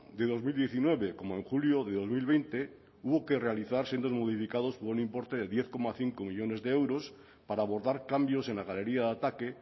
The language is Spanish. de dos mil diecinueve como en julio de dos mil veinte hubo que realizar sendos modificados por un importe de diez coma cinco millónes de euros para abordar cambios en la galería de ataque